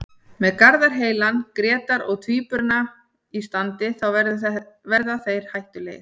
Með Garðar heilan, Grétar og Tvíburana í standi þá verða þeir hættulegir.